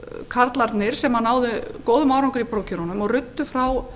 karlarnir sem náðu góðum árangri í prófkjörunum og ruddu frá